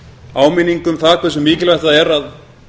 áminning um það hversu mikilvægt það er að